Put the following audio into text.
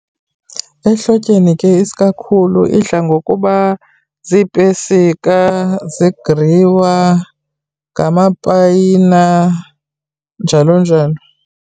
Ehlotyeni ke isikakhulu idla ngokuba ziipesika, ziigriwa, ngamapayina njalo njalo.